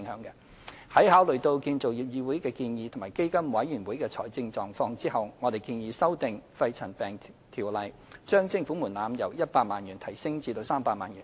在考慮議會的建議及基金委員會的財政狀況後，我們建議修訂《條例》，將徵款門檻由100萬元提高至300萬元。